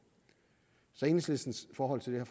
så enhedslistens forhold til det